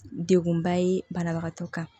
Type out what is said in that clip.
Degunba ye banabagatɔ kan